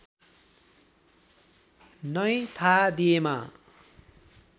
नै थाहा दिएमा